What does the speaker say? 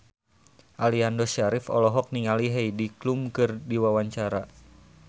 Aliando Syarif olohok ningali Heidi Klum keur diwawancara